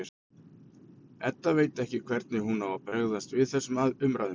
Edda veit ekki hvernig hún á að bregðast við þessum umræðum.